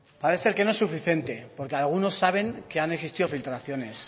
parece que no es suficiente porque algunos saben que han existido filtraciones